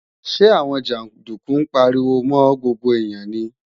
Ṣé àwọn jàndúkú ń pariwo mọ́ gbogbo èèyàn ni?